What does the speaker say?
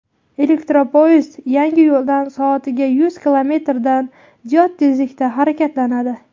Elektropoyezd yangi yo‘ldan soatiga yuz kilometrdan ziyod tezlikda harakatlanadi.